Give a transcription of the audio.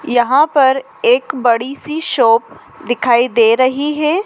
यहां पर एक बड़ी सी शॉप दिखाई दे रही है।